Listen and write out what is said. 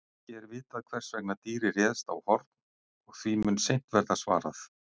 Ekki er vitað hvers vegna dýrið réðst á Horn og því mun seint verða svarað.